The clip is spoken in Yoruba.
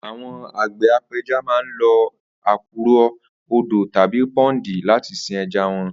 Àwo̩n àgbè̩ ape̩ja máa ń lo àkùrò̩, odò tàbí pó̩ńdì láti sin e̩ja wo̩n